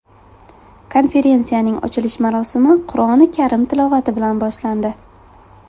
Konferensiyaning ochilish marosimi Qur’oni karim tilovati bilan boshlandi.